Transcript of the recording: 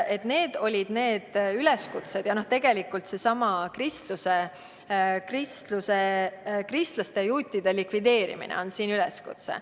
" Sellised olid need üleskutsed, tegelikult oli siin ka seesama kristlaste ja juutide likvideerimise üleskutse.